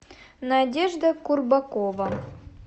надежда курбакова